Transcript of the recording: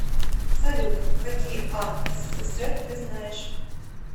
салют какие ан ссср ты знаешь